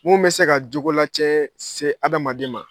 Mun bɛ se ka jogo la cɛɛ se adamaden ma.